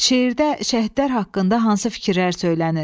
Şeirdə şəhidlər haqqında hansı fikirlər söylənilir?